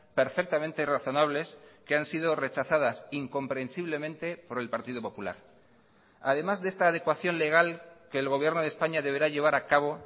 perfectamente razonables que han sido rechazadas incomprensiblemente por el partido popular además de esta adecuación legal que el gobierno de españa deberá llevar a cabo